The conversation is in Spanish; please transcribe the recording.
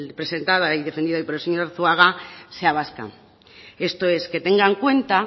presentada y defendida hoy por el señor arzuaga sea vasca esto es que tenga en cuenta